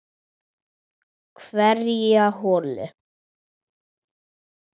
Hverja holu.